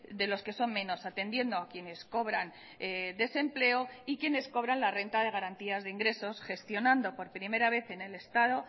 de los que son menos atendiendo a quienes cobran desempleo y quienes cobran la renta de garantías de ingresos gestionando por primera vez en el estado